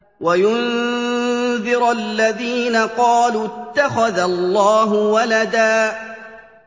وَيُنذِرَ الَّذِينَ قَالُوا اتَّخَذَ اللَّهُ وَلَدًا